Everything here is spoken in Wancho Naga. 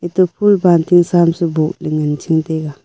to phool balting sa am su boh ley ngan ching taiga.